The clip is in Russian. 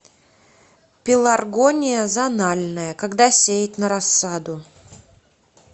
пеларгония зональная когда сеять на рассаду